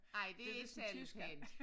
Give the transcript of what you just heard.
Ej det ikke særlig pænt